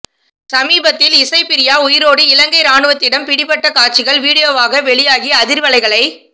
சமீபத்தில் இசைப்பிரியா உயிரோடு இலங்கை இராணுவத்திடம் பிடிபட்ட காட்சிகள் வீடியோவாக வெளியாகி அதிர்வலைகளை